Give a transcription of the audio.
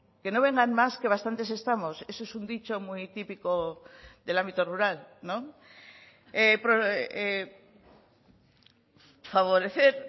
que no vengan más que bastantes estamos eso es un dicho muy típico del ámbito rural no favorecer